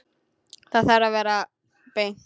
Það þarf að vera beint.